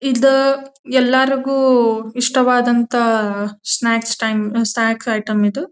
ಇದ ಎಲ್ಲರಿಗೊ ಇಷ್ಟವಾದಂತಹ ಸ್ನಾಕ್ಸ್ ಟೈಮ್ ಸ್ನಾಕ್ಸ್ ಐಟಮ್ ಇದು.